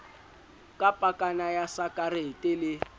ka pakana ya sakarete le